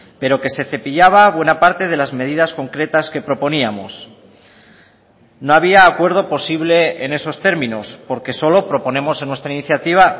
pero que se cepillaba buena parte de las medidas concretas que proponíamos no había acuerdo posible en esos términos porque solo proponemos en nuestra iniciativa